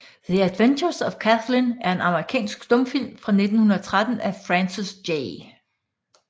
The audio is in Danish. The Adventures of Kathlyn er en amerikansk stumfilm fra 1913 af Francis J